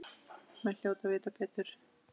Menn hljóta að vita betur.